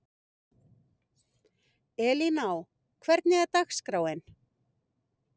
Elíná, hvernig er dagskráin?